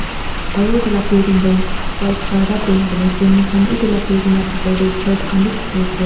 aro edu la building toh white colour pra paint kurina ase mokhan utu la building la bitor tae chairs khan bi dikhiase--